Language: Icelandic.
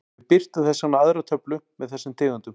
Við birtum þess vegna aðra töflu með þessum tegundum.